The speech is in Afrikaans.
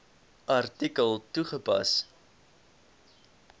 artikel toegepas